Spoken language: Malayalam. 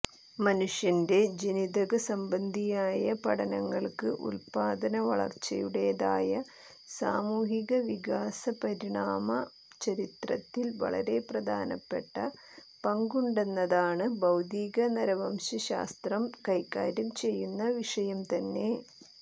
മനുഷ്യന്റെ ജനിതകസംബന്ധിയായ പഠനങ്ങൾക്ക് ഉൽപാദന വളർച്ചയുടേതായ സാമൂഹ്യവികാസപരിണാമ ചരിത്രത്തിൽ വളരെ പ്രധാനപ്പെട്ട പങ്കുണ്ടെന്നതാണ് ഭൌതിക നരവംശശാസ്ത്രം കൈകാര്യം ചെയ്യുന്ന വിഷയംതന്നെ